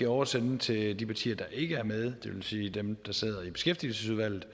oversende dem til de partier der ikke er med det vil sige dem der sidder i beskæftigelsesudvalget